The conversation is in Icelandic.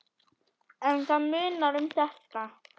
En það munar um þetta.